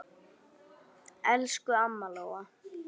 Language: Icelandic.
Elsku amma Lóa.